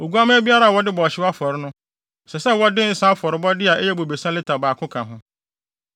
Oguamma biara a wɔde bɔ ɔhyew afɔre no, ɛsɛ sɛ wɔde nsa afɔrebɔde a ɛyɛ bobesa lita baako ka ho.